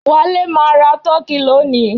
Wale máa ra turkey lónìí